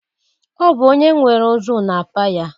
Ọ bụ onye nwere ozu na-apa ya.